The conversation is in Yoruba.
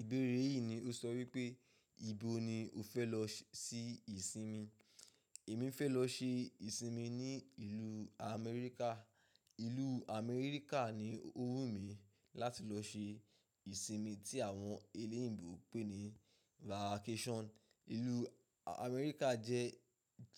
Ìbéèrè yìí ni ó sọ wípé, ìbo ni o fẹ́ lọ ṣi ìsinmi? Èmi fẹ́ lọ ṣe ìsinmi ní ìlú Amẹ́ríkà. Ìlú Amẹ́ríkà ni ó wù mí láti lọ ṣe ìsinmi tí àwọn eléèbò pè ní vacation. Ìlú Amẹ́ríkà jẹ́